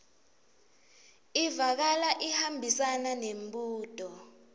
ivakala ihambisana nembuto